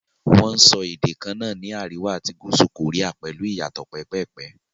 Wọn ń sọ èdè kaná ní àríwá àti gúúsù kòríà pẹ̀lú ìyàtò pẹ́pẹ̀pẹ́.